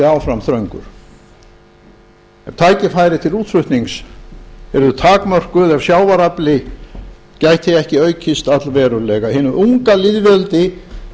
áfram þröngur ef tækifæri til útflutnings yrðu takmörkuð ef sjávarafli gæti ekki aukist allverulega hinu unga lýðveldi